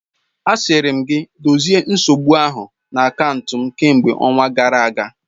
Asịrị m gị dozie nsogbu ahụ na akaụntụ m kemgbe ọnwa gara aga!